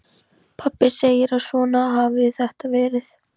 Pabbi segir að svona hafi þetta verið.